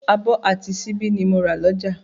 Abọ́ àti síbí ni mo rà lọ́jà